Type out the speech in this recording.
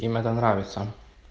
им это нравится